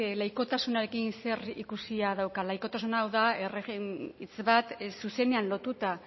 laikotasunarekin zerikusia dauka laikotasuna da hitz bat zuzenean lotuta